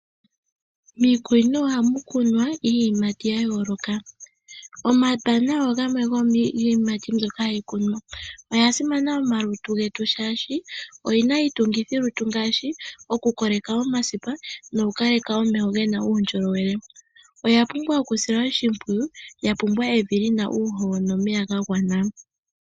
Miikunino ohamu kunwa iiyimati ya yooloka. Omabanana ogamwe go miiyimati mbyoka hayi kunwa, oya simana mo malutu getu shaashi oyina iitungithilutu ngaashi oku koleka omasipa noku kaleka omeho gena uundjolowele. Oya pumbwa oku silwa oshimpwiyu, ya pumbwa evi lina uuhoho nomeya ga gwana.